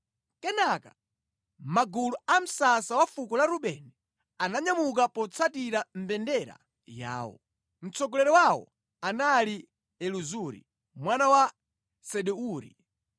Kenaka magulu a msasa wa fuko la Rubeni ananyamuka potsatira mbendera yawo. Mtsogoleri wawo anali Elizuri mwana wa Sedeuri.